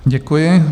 Děkuji.